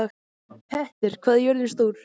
Petter, hvað er jörðin stór?